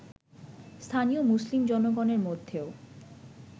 স্থানীয় মুসলিম জনগণের মধ্যেও